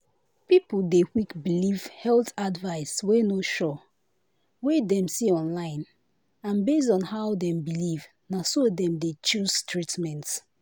people dey quick believe health advice wey no sure wey dem see online and based on how dem believe na so dem dey choose treatment."